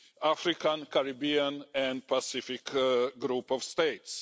African, Caribbean and Pacific Group of States.